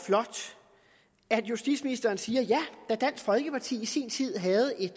flot at justitsministeren siger ja da dansk folkeparti i sin tid havde et